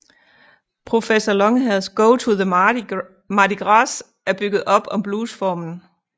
Professor Longhairs Go to the Mardi Gras er bygget op om bluesformen